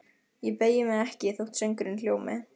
Ég beygi mig ekki þótt söngurinn hljómi: